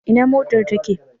Ina mofar take?